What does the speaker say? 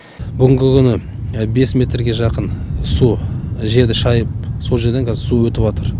бүгінгі күні бес метрге жақын су жерді шайып сол жерден қазір су өтіватыр